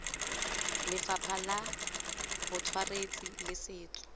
lefapha la botsweretshi le setso